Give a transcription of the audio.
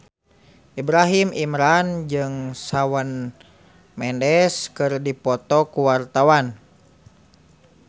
Ibrahim Imran jeung Shawn Mendes keur dipoto ku wartawan